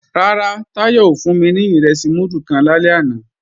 Rárá, Táyọ̀ ò fún mi ní ìrẹsì múdù kan lálẹ́ àná